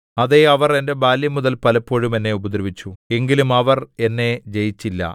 അതെ അവർ എന്റെ ബാല്യംമുതൽ പലപ്പോഴും എന്നെ ഉപദ്രവിച്ചു എങ്കിലും അവർ എന്നെ ജയിച്ചില്ല